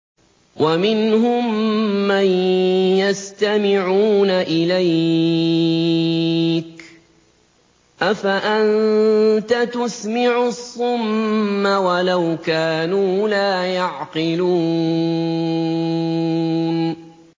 وَمِنْهُم مَّن يَسْتَمِعُونَ إِلَيْكَ ۚ أَفَأَنتَ تُسْمِعُ الصُّمَّ وَلَوْ كَانُوا لَا يَعْقِلُونَ